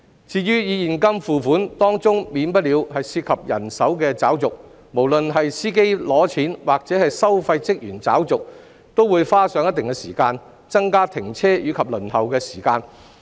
至於以現金付款，當中免不了涉及人手找續，無論是司機拿錢或收費員找續，都會花上一定時間，增加停車及輪候時間。